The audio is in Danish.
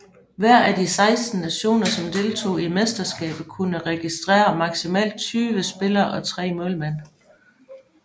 Hver af de 16 nationer som deltog i mesterskabet kunne registrere maksimalt 20 spillere og tre målmænd